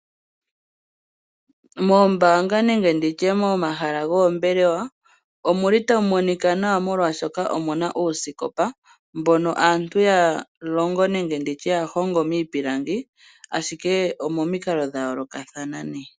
Moombaanga nenge mo hala goombelewa oha mu monika nawa oshoka omuna uusikopa mboka aantu ya honga miipilangi momikalo dha yoolokathana.